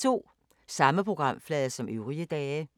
Samme programflade som øvrige dage